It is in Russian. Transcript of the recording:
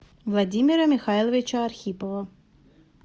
владимира михайловича архипова